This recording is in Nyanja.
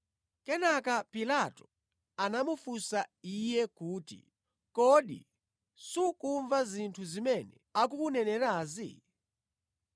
Kenaka Pilato anamufunsa Iye kuti, “Kodi sukumva zinthu zimene akukunenerazi?”